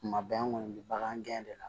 Kuma bɛɛ an kɔni bɛ bagan gɛn de la